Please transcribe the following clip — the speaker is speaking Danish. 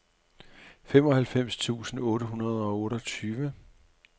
femoghalvfems tusind otte hundrede og otteogtyve